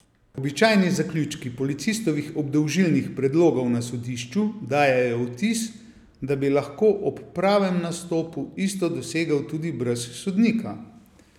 Običajni zaključki policistovih obdolžilnih predlogov na sodišču dajejo vtis, da bi lahko ob pravem nastopu isto dosegel tudi brez sodnika.